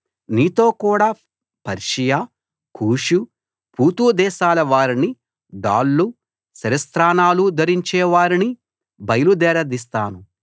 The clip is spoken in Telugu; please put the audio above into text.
నీతో కూడ పర్షియా కూషు పూతు దేశాల వారినీ డాళ్ళు శిరస్త్రాణాలు ధరించే వారినీ బయలుదేరదీస్తాను